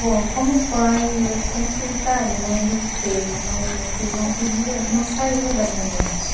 Bom, como pai, eu sempre tive carinho e respeito, mas aquilo não podia, não saía da minha mente.